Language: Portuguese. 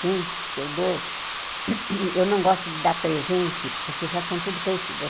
Gente, se eu dou... Eu não gosto de dar presente, porque já estão todos crescidos.